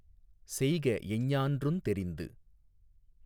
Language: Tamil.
செய்க எஞ்ஞான்றுந் தெரிந்து